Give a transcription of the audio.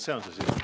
See on see sisu.